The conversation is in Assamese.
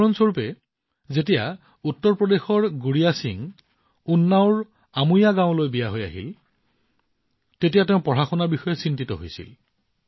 উদাহৰণ স্বৰূপে যেতিয়া উত্তৰ প্ৰদেশৰ গুড়িয়া সিঙে উন্নাওৰ আমোয়া গাঁৱত থকা তেওঁৰ শহুৰেকৰ ঘৰলৈ আহিছিল তেতিয়া তেওঁ পঢ়াশুনাক লৈ চিন্তিত হৈছিল